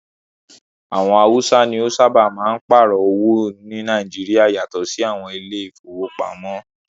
Àwọn haúsá ní o sábáà máa n páàrọ̀ owó ní Nàìjíríà yatọ sí àwọn ilé ìfọwọ́pamo.